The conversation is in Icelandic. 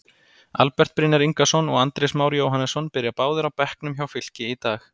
Albert Brynjar Ingason og Andrés Már Jóhannesson byrja báðir á bekknum hjá Fylki í dag.